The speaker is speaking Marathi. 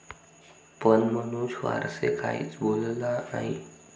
पण मनोज फारसे काहीच बोलला नाही.